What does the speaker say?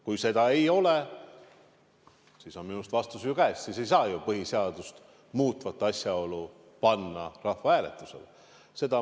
Kui seda ei ole, siis on minu arust vastus käes, siis ei saa põhiseadust muutvat asjaolu rahvahääletusele panna.